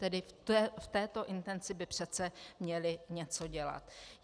Tedy v této intenci by přece měli něco dělat.